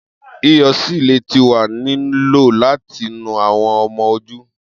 Iyọ silė ti wa ni lo lati nu awọn ọmọ oju